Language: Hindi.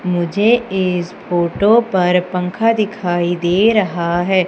मुझे इस फोटो पर पंखा दिखाई दे रहा है।